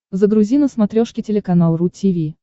загрузи на смотрешке телеканал ру ти ви